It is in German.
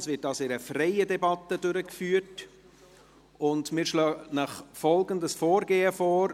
Die Beratung wird also in freier Debatte durchgeführt, und wir schlagen Ihnen folgendes Vorgehen vor: